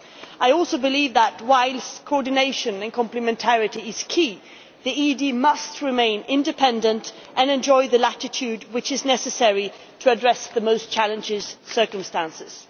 I also believe that, whilst coordination and complementarity is key, the EED must remain independent and enjoy the latitude which is necessary to address the most challenging circumstances.